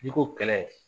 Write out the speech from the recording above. N'i ko kɛlɛ